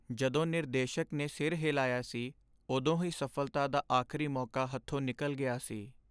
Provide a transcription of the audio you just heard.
ਜਦੋਂ ਨਿਰਦੇਸ਼ਕ ਨੇ ਸਿਰ ਹਿਲਾਇਆ ਸੀ ਉਦੋਂ ਹੀ ਸਫ਼ਲਤਾ ਦਾ ਆਖਰੀ ਮੌਕਾ ਹੱਥੋਂ ਨਿਕਲ ਗਿਆ ਸੀ।